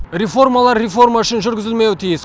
реформалар реформа үшін жүргізілмеуі тиіс